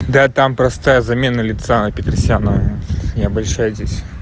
да там просто замена лица на петросяна не обольщайтесь